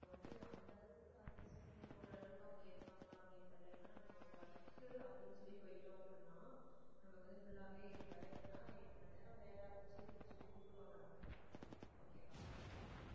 அந்த அளவுக்கு adjust பண்ணி போற அளவுக்கு அவங்க இருப்பாங்களான்னு எனக்கு தெரியல நம்ம work அப்படின்னு சொல்லி போயிட்டோம் அப்படின்னா நமக்கு வந்து full வே இப்ப எட்டு மணி நேரம் வேலை சொல்லி கூப்பிடுவாங்க நமக்கு okay வா.